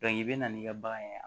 i bɛ na n'i ka bagan ye